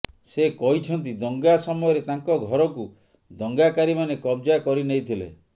ସେ କହିଛନ୍ତି ଦଙ୍ଗା ସମୟରେ ତାଙ୍କ ଘରକୁ ଦଙ୍ଗାକାରୀମାନେ କବ୍ଜା କରିନେଇଥିଲେ